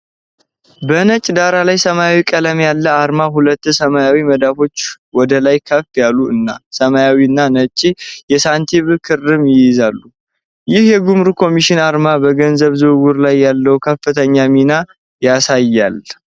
በነጭ ዳራ ላይ ሰማያዊ ቀለም ያለው አርማ ሁለት ሰማያዊ መዳፎች ወደ ላይ ከፍ ያሉ እና ሰማያዊና ነጭ የሳንቲም ክምር ይይዛሉ፣ ይህ የጉምሩክ ኮሚሽን አርማ በገንዘብ ዝውውር ላይ ያለውን ትክክለኛ ሚና ያሳያልን?